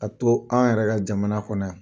A to an yɛrɛ ka jamana kɔnɔ yan.